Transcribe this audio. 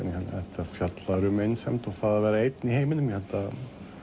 þetta fjallar um einsemd og það að vera einn í heiminum ég held að